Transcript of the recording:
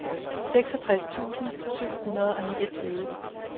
seksogtres tusind syv hundrede og niogtyve